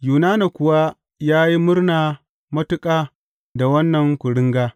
Yunana kuwa ya yi murna matuƙa da wannan kuringa.